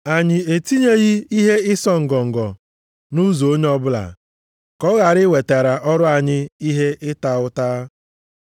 Anyị etinyeghị ihe ịsọ ngọngọ nʼụzọ onye ọbụla ka ọ ghara iwetara ọrụ anyị ihe ịta ụta.